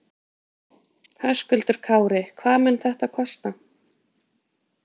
Höskuldur Kári: Hvað mun þetta kosta?